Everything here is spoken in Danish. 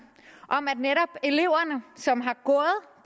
om at netop elever som